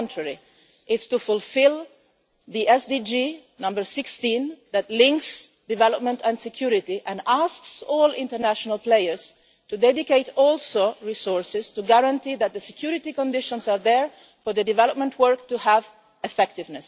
On the contrary, it is to fulfil SDG No 16 that links development and security and asks all international players also to dedicate resources to guarantee that the security conditions are there for the development work to be effective.